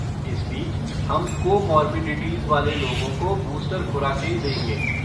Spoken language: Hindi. इस बीच हम कोमॉर्बिडिटीज़ वाले लोगों को बूस्टर खुराकें देंगे।